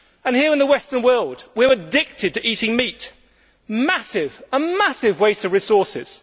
Here in the Western world, we are addicted to eating meat a massive waste of resources.